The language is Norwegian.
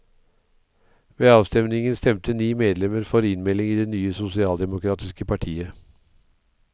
Ved avstemmingen stemte ni medlemmer for innmelding i det nye sosialdemokratiske partiet.